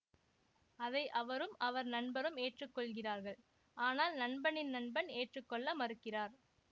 அதை அவரும் அவர் நண்பரும் ஏற்றுக்கொள்கிறார்கள் ஆனால் நண்பனின் நண்பன் ஏற்றுக்கொள்ள மறுக்கிறார்